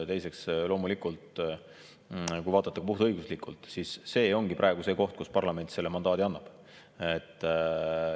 Teiseks, kui vaadata ka puhtõiguslikult, siis see ongi praegu see koht, kus parlament selle mandaadi annab.